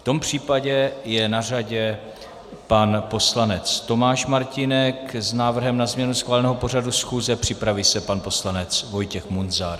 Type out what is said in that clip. V tom případě je na řadě pan poslanec Tomáš Martínek s návrhem na změnu schváleného pořadu schůze, připraví se pan poslanec Vojtěch Munzar.